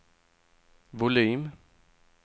volym